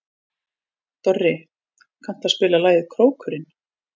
Dorri, kanntu að spila lagið „Krókurinn“?